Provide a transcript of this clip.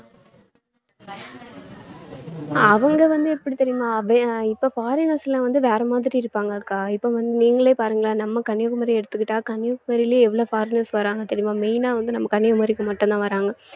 அவங்க வந்து எப்படி தெரியுமா வே~ இப்ப foreigners எல்லாம் வந்து வேற மாதிரி இருப்பாங்க இப்ப~ வந்~ நீங்களே பாருங்களேன் நம்ம கன்னியாகுமரியை எடுத்துக்கிட்டா கன்னியாகுமரியிலே எவ்வளவு foreigners வர்றாங்க தெரியுமா main ஆ வந்து நம்ம கன்னியாகுமரிக்கு மட்டும்தான் வர்றாங்க